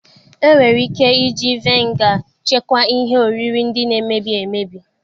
E nwere ike iji vaịnga chekwaa ihe oriri ndị na-emebi emebi.